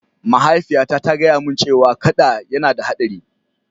Mahaifiyata ta gaya mani cewa kada yana da haɗari.